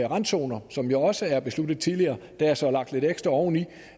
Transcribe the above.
randzoner som jo også er besluttet tidligere der er så lagt lidt ekstra oveni